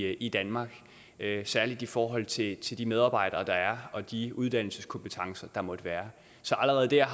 ret i danmark særlig i forhold til til de medarbejdere der er og de uddannelseskompetencer der måtte være så allerede der